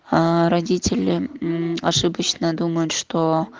аа родители мм ошибочно думают что